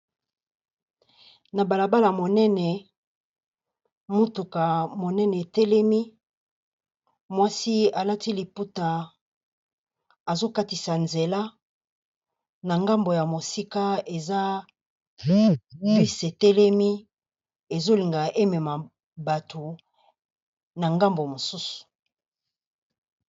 Na balabala ya monene, motuka monene e telemi , mwasi a lati liputa, azo katisa nzela, na ngambu ya mosika bus e telemi, ezo linga e mema batu na ngambu mosusu.